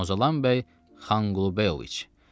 Muzalan bəy Xankulubəyoviç.